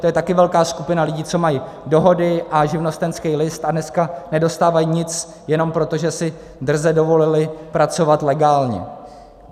To je taky velká skupina lidí, co mají dohody a živnostenský list a dneska nedostávají nic jenom proto, že si drze dovolili pracovat legálně.